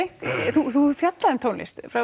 þú hefur fjallað um tónlist frá